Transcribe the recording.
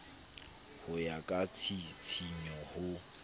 ho ya ka tshisinyo ho